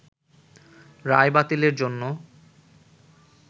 রায় বাতিলের জন্য